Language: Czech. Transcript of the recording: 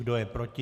Kdo je proti?